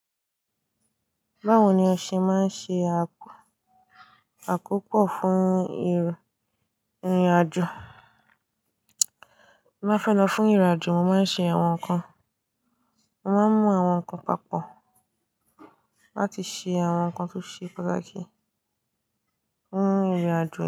Báwo ni ọ ṣe máa ń ṣe a, àkoko fún ìrìnàjò? Bí mo bá fẹ́ lọ fún ìrìnàjò, mo máa ń ṣe àwọn nǹkan, mo máa ń mú àwọn nǹkan papọ̀ láti ṣe àwọn nǹkan tó ṣe pàtàkì fún ìrìnàjò.